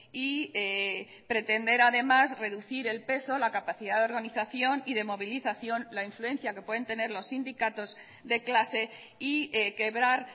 y pretender además reducir el peso la capacidad de organización y de movilización la influencia que pueden tener los sindicatos de clase y quebrar